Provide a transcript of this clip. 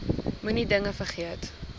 moenie dinge vergeet